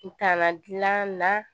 Kuntaala gilan na